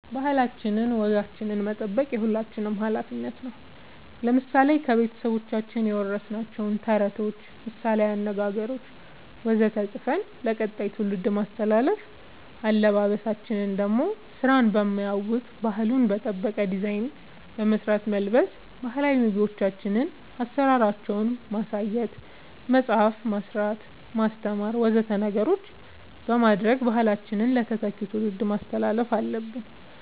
ባህላችን ወጋችን መጠበቅ የሁላችንም አላፊነት ነው ለምሳሌ ከቤተሰቦቻችን የወረስናቸውን ተረቶች ምሳላዊ አነገገሮች ወዘተ ፅፈን ለቀጣይ ትውልድ ማስተላለፍ አለበበሳችን ደሞ ስራን በማያውክ ባህሉን በጠበቀ ዲዛይን በመስራት መልበስ ባህላዊ ምግቦቻችን አሰራራቸውን ማሳየት መፅአፍ መስራት ማስተማር ወዘተ ነገሮች በማድረግ ባህላችንን ለተተኪው ትውልድ ማስተላለፍ አለብን